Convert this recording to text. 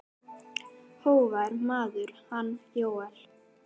Hógvær maður, hann Jóel.